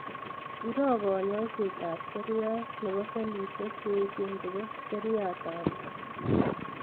Iroo kanyaiset ab seriat nebo sellishek cheyech chebo seriat ab bwonik